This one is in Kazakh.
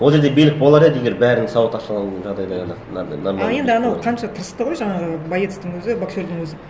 ол жерде билік болар еді егер бәрін сауат аша алу жағдайда ғана мынандай нормально а енді анау қанша тырысты ғой жаңағы боецтың өзі боксердың өзі